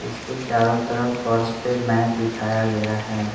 इसके चारों तरफ फर्स पे मैट बिछाया गया है।